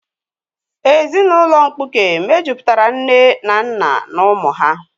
Ezinụlọ mkpuke mejupụtara nne na nna na ụmụ ha